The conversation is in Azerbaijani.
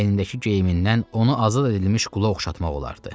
Əynindəki geyimindən onu azad edilmiş qula oxşatmaq olardı.